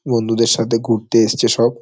বন্ধুদের সাথে ঘুরতে এসেছে সব।